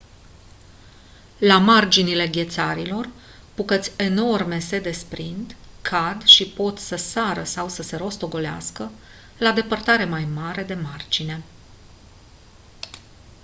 la marginile ghețarilor bucăți enorme se desprind cad și pot să sară sau să se rostogolească la depărtare mai mare de margine